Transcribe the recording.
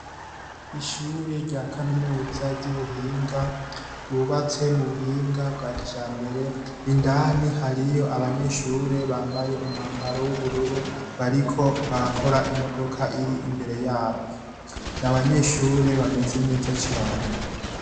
Ishure rya Kaminuza ry'Ubuhinga ryubatse mu buhinga bwa kijambere, indani hariyo abanyeshure bambaye umwambaro w'ubururu bariko barakora imodoka iri imbere yabo. N'abanyeshure bameze neza cane.